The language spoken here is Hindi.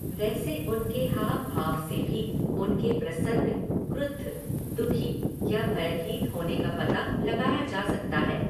वैसे उनके हाव भाव से भी उनके प्रसन्न, क्रुद्ध, दुःखी या भयभीत होने का पता लगाया जा सकता है।